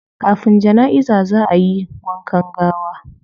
Kafin janaiza zaa ayi wankan gawa